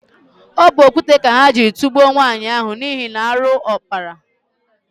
Ọ bụ okwute ka ha jiri tugbuo nwaanyị ahụ n'ihi na arụ ọ kpara.